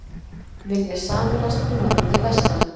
Vilja sameinast Húnaþingi vestra